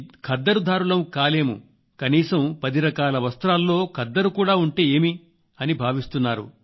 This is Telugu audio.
ఖద్దరు ధారులం కాలేము కనీసం పది రకాల వస్త్రాల్లో ఖద్దరు కూడా ఉంటే ఏమి అని భావిస్తున్నారు